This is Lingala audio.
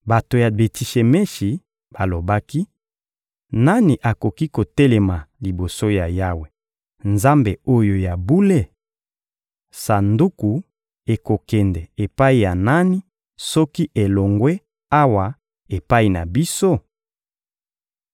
Bato ya Beti-Shemeshi balobaki: «Nani akoki kotelema liboso ya Yawe, Nzambe oyo ya bule? Sanduku ekokende epai ya nani soki elongwe awa epai na biso?»